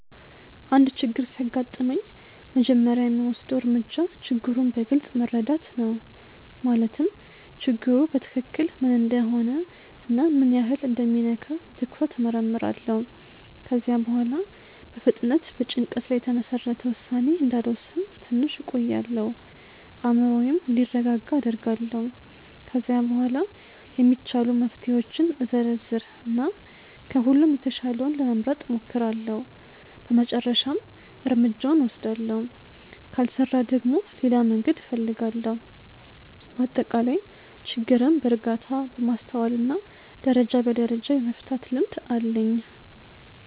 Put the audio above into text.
አንድ ችግር ሲያጋጥመኝ መጀመሪያ የምወስደው እርምጃ ችግሩን በግልጽ መረዳት ነው። ማለትም ችግሩ በትክክል ምን እንደሆነ እና ምን ያህል እንደሚነካ በትኩረት እመርምራለሁ። ከዚያ በኋላ በፍጥነት በጭንቀት ላይ የተመሰረተ ውሳኔ እንዳልወስን ትንሽ እቆያለሁ፤ አእምሮዬም እንዲረጋጋ አደርጋለሁ። ከዚያ በኋላ የሚቻሉ መፍትሄዎችን እዘረዝር እና ከሁሉም የተሻለውን ለመምረጥ እሞክራለሁ በመጨረሻም እርምጃውን እወስዳለሁ። ካልሰራ ደግሞ ሌላ መንገድ እፈልጋለሁ። በአጠቃላይ ችግርን በእርጋታ፣ በማስተዋል እና ደረጃ በደረጃ የመፍታት ልምድ አለኝ።